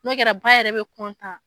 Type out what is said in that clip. N'o kɛra ba yɛrɛ bɛ